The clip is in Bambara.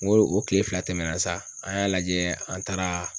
N ko o kile fila tɛmɛna sa, an y'a lajɛ an taara